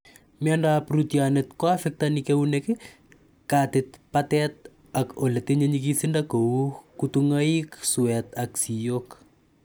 Miando ap rootyonet, koaffektani keunek, katit ,patet ak ole tinye nyikisindo kou kutung'aiik , suet ak siiyok